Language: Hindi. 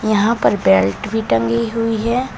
यहां पर बेल्ट भी टंगी हुई है।